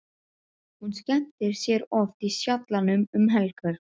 Hún skemmtir sér oft í Sjallanum um helgar.